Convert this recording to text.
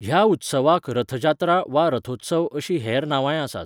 ह्या उत्सवाक रथ जात्रा वा रथोत्सव अशीं हेर नांवांय आसात.